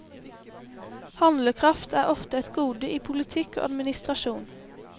Handlekraft er ofte et gode i politikk og administrasjon.